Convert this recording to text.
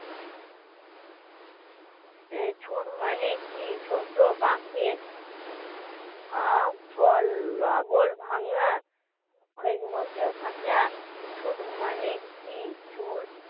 এই ছুট মানে কি? ছোট পাখের আ লাগল ভাঙা খৈর খাঁচা